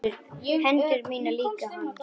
Hendur mínar líka hans.